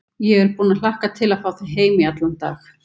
Ég er búin að hlakka til að fá þig heim í allan dag.